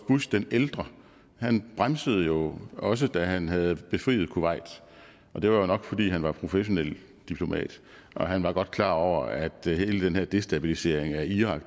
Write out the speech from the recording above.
bush den ældre bremsede jo også da han havde befriet kuwait og det var jo nok fordi han var professionelt diplomat og han var godt klar over at hele den her destabilisering af irak